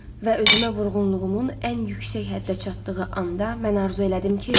Və özümə vurğunluğumun ən yüksək həddə çatdığı anda mən arzu elədim ki,